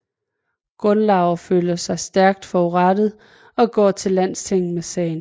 Gunnlaugr føler sig stærkt forurettet og går til landstinget med sagen